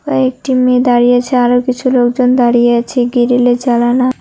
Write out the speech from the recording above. কয়েকটি মেয়ে দাঁড়িয়ে আছে আরও কিছু লোকজন দাঁড়িয়ে আছে গ্রিলে জালানা--